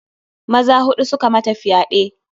Maza huɗu suka mata fyaɗe.